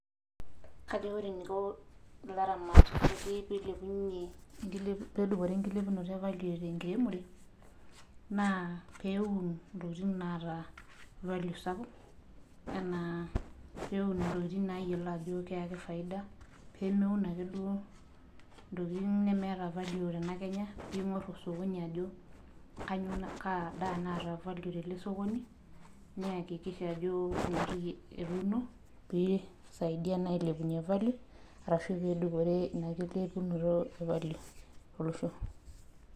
kajo ore eniko ilaramatak pee edupore enkilepunoto evalio tenkiremore naa pee eun intokitin naata valio sapuk enaa pee eun intokitin nayiolo ajo keyaki faida, pee meun ake duo intokitin nemeta valio tenakenya ,nigor osokoni ajo kaadaa naata valio tosokoni, neyakikisha ajo ina toki etuno pee isaidia naa ailepunye valio ashu isaidia naa adupore ina kilepunoto olosho.